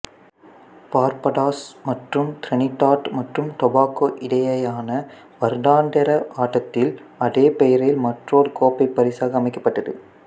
Barbados மற்றும் Trinidad மற்றும் Tobago இடையேயான வருடாந்திர ஆட்டத்தில் அதே பெயரில் மற்றொரு கோப்பை பரிசாக அமைக்கப்பட்டது